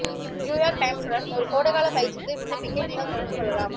New York டைம்ஸுடன் ஒரு கோடைகால பயிற்சிக்கு விண்ணப்பிக்க நீங்கள் தொடர்பு கொள்ளலாம்